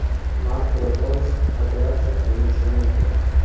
Marko Roys operatsiya qilinishi mumkin.